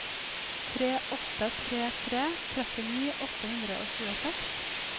tre åtte tre tre trettini åtte hundre og tjueseks